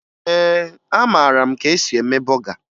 Ee, amara m ka esi eme bọga